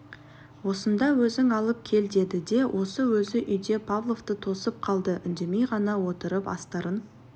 осында өзің алып кел деді де өзі осы үйде павловты тосып қалды үндемей ғана отырып астарын